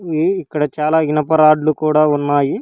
ఇవి ఇక్కడ చాలా ఇనప రాడ్లు కూడా ఉన్నాయి.